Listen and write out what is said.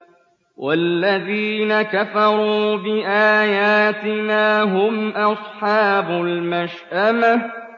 وَالَّذِينَ كَفَرُوا بِآيَاتِنَا هُمْ أَصْحَابُ الْمَشْأَمَةِ